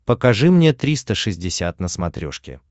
покажи мне триста шестьдесят на смотрешке